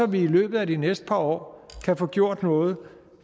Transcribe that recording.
vi i løbet af de næste par år kan få gjort noget